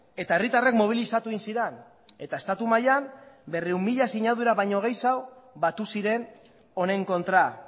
eta herritarrak mobilizatu egin ziren eta estatu mailan berrehun mila sinadura baino gehiago batu ziren honen kontra